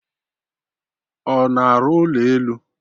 Ọ na-arụ ụlọ elu?